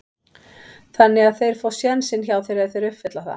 Þannig að þeir fá sénsinn hjá þér ef þeir uppfylla það?